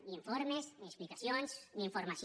ni informes ni explicacions ni informació